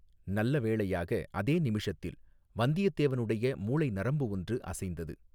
நல்ல வேளையாக அதே நிமிஷத்தில் வந்தியத்தேவனுடைய மூளை நரம்பு ஒன்று அசைந்தது.